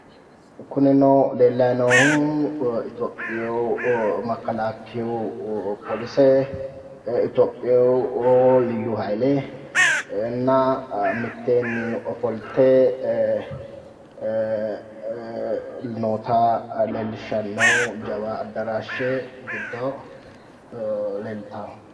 Kunino leellayi noohu itiyophiyu makkalakkiyu polise itiyophiyu liyyu hayile mitteenni ofolte noota leellishshanno jawa addaraashshe giddo leeltawo.